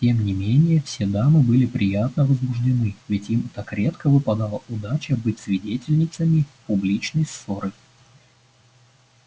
тем не менее все дамы были приятно возбуждены ведь им так редко выпадала удача быть свидетельницами публичной ссоры